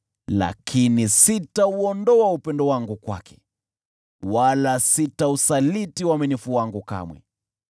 lakini sitauondoa upendo wangu kwake, wala sitausaliti uaminifu wangu kamwe.